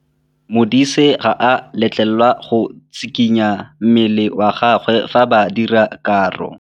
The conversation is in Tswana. Modise ga a letlelelwa go tshikinya mmele wa gagwe fa ba dira karô.